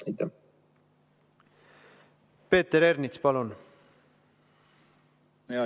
Hea juhataja!